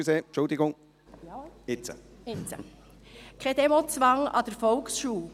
Kein Demozwang an der Volksschule.